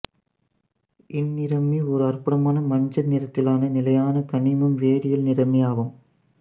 இந்நிறமி ஓர் அற்புதமான மஞ்சள் நிறத்திலான நிலையான கனிம் வேதியியல் நிறமியாகும்